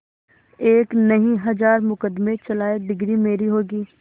एक नहीं हजार मुकदमें चलाएं डिगरी मेरी होगी